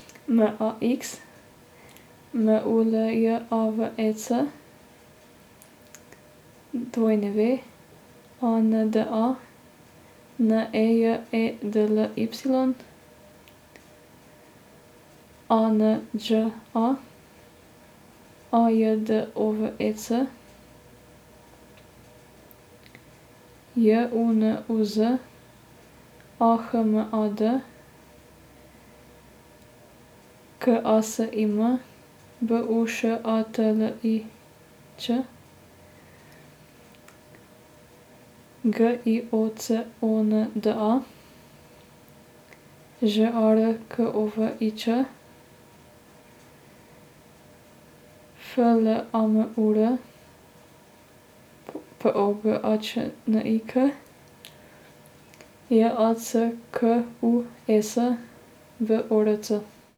M A X, M U L J A V E C; W A N D A, N E J E D L Y; A N Đ A, A J D O V E C; J U N U Z, A H M A D; K A S I M, B U Š A T L I Ć; G I O C O N D A, Ž A R K O V I Č; F L A M U R, P O G A Č N I K; J A C K U E S, B O R C.